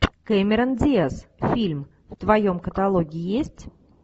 кэмерон диаз фильм в твоем каталоге есть